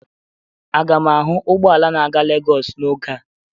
Aga m ahụ ụgbọ ala na-aga Lagos n'oge a?